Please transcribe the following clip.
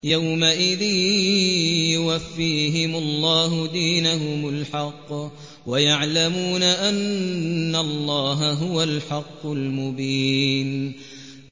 يَوْمَئِذٍ يُوَفِّيهِمُ اللَّهُ دِينَهُمُ الْحَقَّ وَيَعْلَمُونَ أَنَّ اللَّهَ هُوَ الْحَقُّ الْمُبِينُ